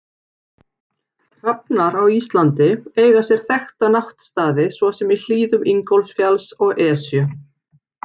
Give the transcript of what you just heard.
Hrafnar á Íslandi eiga sér þekkta náttstaði svo sem í hlíðum Ingólfsfjalls og Esju.